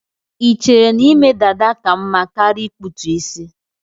Ichere na ime dada ka mma karia ikputu isi